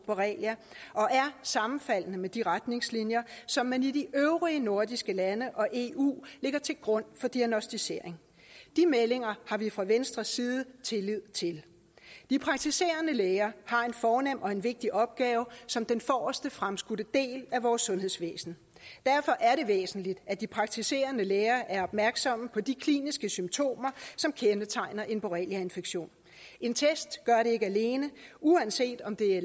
borrelia og er sammenfaldende med de retningslinjer som man i de øvrige nordiske lande og eu lægger til grund for diagnosticering de meldinger har vi fra venstres side tillid til de praktiserende læger har en fornem og en vigtig opgave som den forreste fremskudte del af vores sundhedsvæsen derfor er det væsentligt at de praktiserende læger er opmærksomme på de kliniske symptomer som kendetegner en borreliainfektion en test gør det ikke alene uanset om det